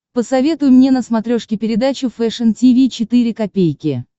посоветуй мне на смотрешке передачу фэшн ти ви четыре ка